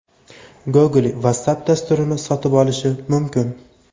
Google Whatsapp dasturini sotib olishi mumkin.